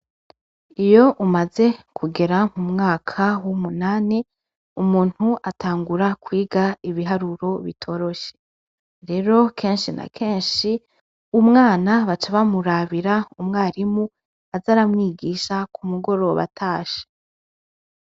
Iyo umaze kugera mu mwaka w' umunani umuntu atangura kwiga ibiharuro bitoroshe rero kenshi na kenshi umwana baca bamurabira umwarimu aza aramwigisha ku mugoroba atashe.